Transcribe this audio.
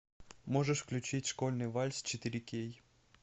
можешь включить школьный вальс четыре кей